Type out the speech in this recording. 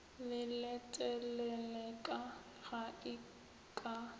le leteleleka ge e ka